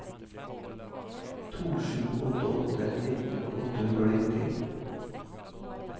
to sju åtte åtte nitten åtte hundre og nitti